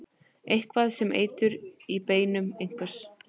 Eitthvað er sem eitur í beinum einhvers